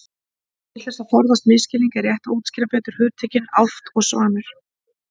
Til þess að forðast misskilning er rétt að útskýra betur hugtökin álft og svanur.